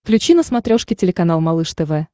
включи на смотрешке телеканал малыш тв